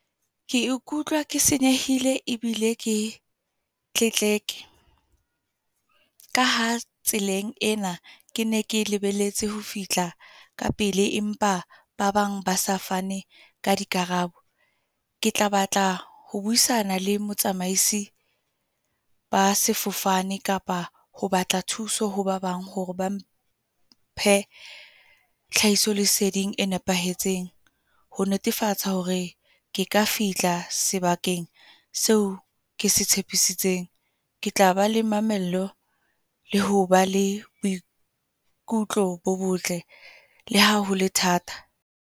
Ke ikutlwa ke senyehile ebile ke tletleke. Ka ha tseleng ena ke ne ke lebelletse ho fihla ka pele. Empa ba bang ba sa fane ka di karabo. Ke tla batla ho buisana le motsamaisi ba sefofane. Kapa ho batla thuso ho ba bang hore ba mphe tlhahisoleseding e nepahetseng. Ho netefatsa hore ke ka fihla tla sebakeng seo kese tshepisitseng. Ke tla ba le mamello, le ho ba le boikutlo bo botle. Le ha hole thata.